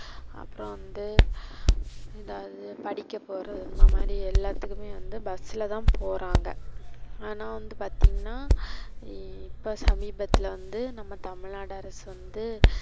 அப்றோ வந்து எதாது படிக்க போறது இந்த மாதிரி எல்லாத்துக்கும் வந்து bus ல தான் போறாங்க. ஆனா வந்து பாத்திங்கனா இப்ப சமீபத்துல வந்து நம்ம தமிழ்நாடு அரசு வந்து,